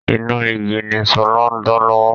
Iná igi ni sọlá ń dá lọ́wọ́